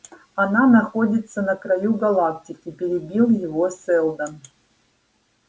она находится на краю галактики перебил его сэлдон